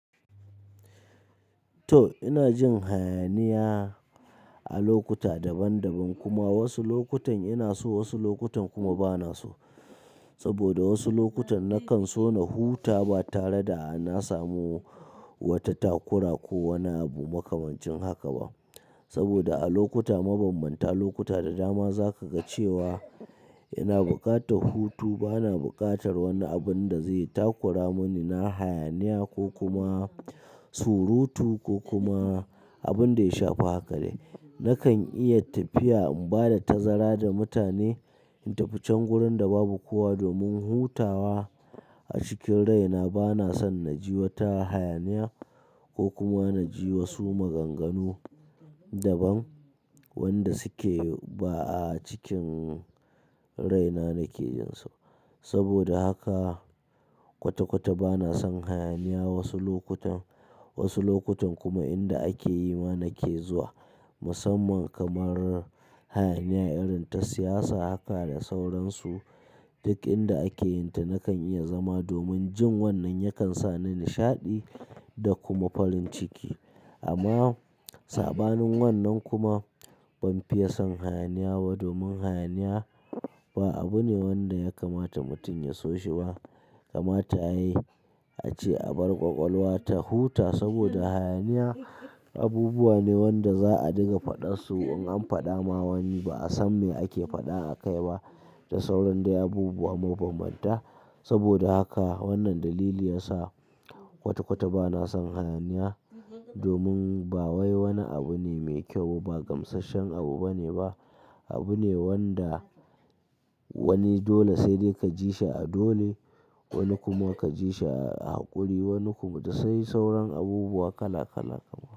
To ina jin hayaniya a lokuta daban-daban kuma wasu lokutan ina so wasu lokutan kuma bana so. Saboda wasu lokutan nakan so na huta ba tare da na samu wata takura ko wani abu makamancin haka ba. Saboda a lokuta mabambanta lokuta da dama zaka ga cewa ina buƙatar hutu bana buƙatar wani abun da zai takura muni na hayaniya ko kuma surutu ko kuma abun da ya shafi haka dai. Nakan iya tafiya in bada tazara da mutane in tafi can gurin da babu kowa domin hutawa a cikin rai na bana son na ji wata hayaniya ko kuma na ji wasu maganganu daban wanda suke ba a cikin rai na nake jin su. Saboda haka kwata-kwata bana son hayaniya wasu lokutan, wasu lokutan kuma inda ake yi ma nake zuwa musamman kamar hayaniya irin ta siyasa haka da sauransu duk inda ake yin ta nakan iya zama domin jin wannan yakan sa ni nishaɗi da kuma farin ciki. Amma saɓanin wannan kuma ban fiye son hayaniya ba domin hayaniya ba abu ne wanda ya kamata mutum ya so shi ba. Kamata yayi ace a bar ƙwaƙwalwa ta huta saboda hayaniya abubuwa ne wanda za'a dinga faɗan su in an faɗa ma wani ba'a san me ake faɗa a kai ba da sauran dai abubuwa mabambanta. Saboda haka wannan dalili yasa kwata-kwata bana son hayaniya domin ba wai wani abu ne mai kyau ba ba gamsasshen abu bane ba. Abu ne wanda wani dole sai dai ka ji shi a dole wani kuma ka ji shi a haƙuri wani kuma da sai sauran abubuwa kala kal kaman.